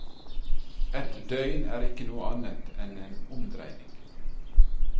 Et døgn er ikke noe annet enn en omdreining.